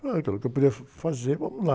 Ah, eu falei que eu podia fazer, vamos lá.